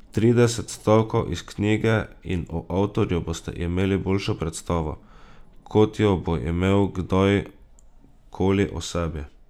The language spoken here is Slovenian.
Trideset stavkov iz knjige in o avtorju boste imeli boljšo predstavo, kot jo bo imel kdaj koli o sebi.